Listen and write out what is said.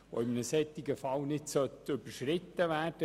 Dieser Anteil sollte nicht überschritten werden.